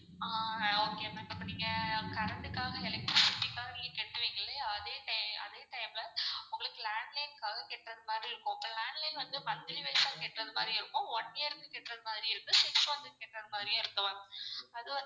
ஆஹ் okay ma'am அப்போ நீங்க current காக electricity க்காக நீங்க கட்டுவீங்க இல்லையா அதே அதே time ல உங்களுக்கு landline க்காக கெட்றதுமாறி இருக்கும். landline வந்து monthly wise கெட்டுறது மாதிரி இருக்கும் one year க்கு கெட்றது மாதிரியும் இருக்கு six month க்கு கெட்றது மாதிரியும் இருக்கு ma'am அதுவந்து